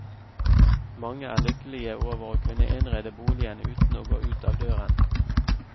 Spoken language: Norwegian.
Mange er lykkelige over å kunne innrede boligen uten å gå ut av døren.